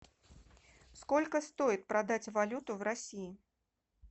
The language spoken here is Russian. сколько стоит продать валюту в россии